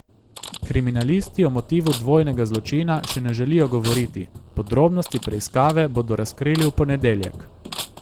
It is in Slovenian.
Kriminalisti o motivu dvojnega zločina še ne želijo govoriti, podrobnosti preiskave bodo razkrili v ponedeljek.